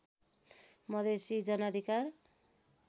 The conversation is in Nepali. मधेसी जनअधिकार